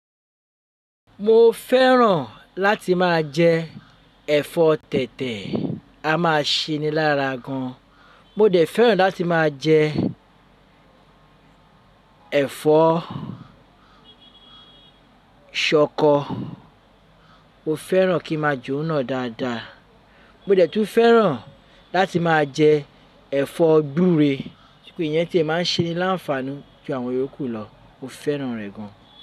Mo fẹ́ràn láti máa jẹ ẹ̀fọ́ tètè a máa se ní lára gan. Mo dẹ̀ fẹ́ràn láti máa jẹ ẹ̀fọ́ ṣọkọ, mo fẹ́ràn kí ń máa je òun náà dáadáa. Mo dẹ̀ tún fẹ́ràn láti máa jẹ ẹ̀fọ́ gbúre, ṣùgbọ́n ìyẹn tí a máa ń se ní láǹfààní ju àwọn Yòókù lọ, mo fẹ́ràn rẹ̀ gan.